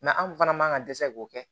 anw fana man ka dɛsɛ k'o kɛ